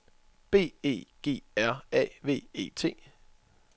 B E G R A V E T